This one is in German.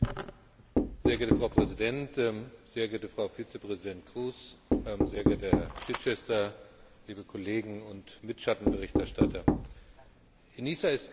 Frau Präsidentin, sehr geehrte Frau Vizepräsidentin Kroes, sehr geehrter Herr Chichester, liebe Kollegen und Mitschattenberichterstatter! ENISA ist kein Selbstzweck.